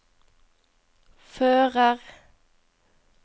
fører